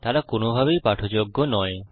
তারা কোন ভাবেই পাঠযোগ্য নয়